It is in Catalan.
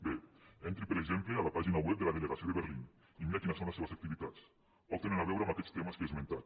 bé entri per exemple a la pàgina web de la delegació de berlín i miri quines són les seves activitats poc tenen a veure amb aquests temes que he esmentat